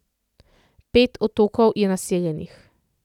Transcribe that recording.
Pet otokov je naseljenih.